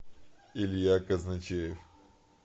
илья казначеев